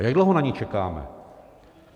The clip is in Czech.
A jak dlouho na ni čekáme?